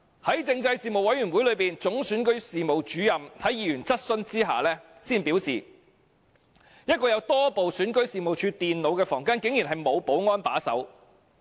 在政制事務委員會會議上，總選舉事務主任在議員質詢之下表示，一個放置多部選舉事務處電腦的房間竟然沒有保安把守。